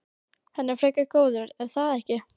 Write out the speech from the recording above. Hann er frekar góður er það ekki?